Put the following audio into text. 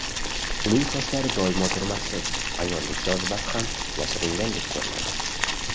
Uning sochlari doimo turmaksiz, ayollik jozibasi ham yashiringandek ko‘rinadi.